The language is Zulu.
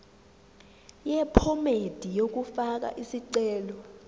yephomedi yokufaka isicelo